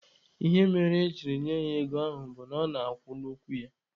Ihe mere ejiri nye ya ego ahụ bụ, ọ na-akwụ n'okwu ya.